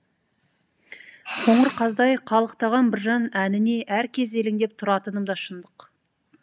қоңыр қаздай қалықтаған біржан әніне әр кез елеңдеп тұратыным да шындық